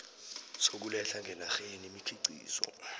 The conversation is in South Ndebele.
sokuletha ngenarheni imikhiqizo